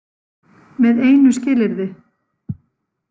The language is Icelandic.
Með einu skilyrði.